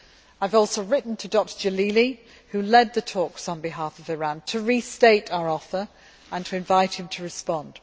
I have also written to Dr Jalili, who led the talks on behalf of Iran, to restate our offer and to invite him to respond.